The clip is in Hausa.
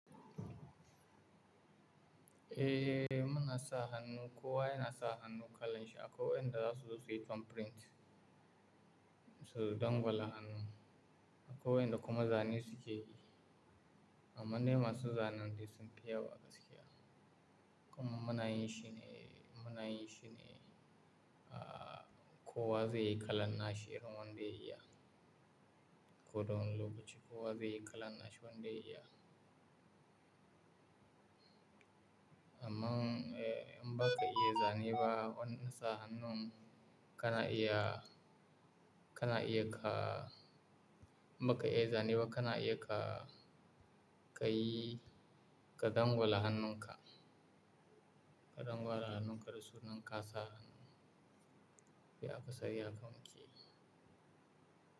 Eh, muna sa hannu, kowa yana sa hannun kalan shi akwai wayanda za su zo su yi thumb print, su dangwala hannu. Akwai wayanda kuma zane suke yi, amma ne masu zanen dai sun fi yawa gaskiya. Kuma muna yin shi ne, muna yin shi ne kowa zai yi kalan na shi irin wanda ya iya. Koda wani lokaci kowa zai yi kalan na shi wanda ya iya. Amma eh, in baka iya zane ba, wannan sa hannun, kana iya, kana iya ka, in baka iya zane ba kana iya ka, ka yi, ka dangwala hannun ka. Ka dangwala hannun ka da sunan kasa, bai akasari haka muke yi.